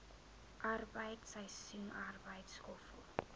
arbeid seisoensarbeid skoffel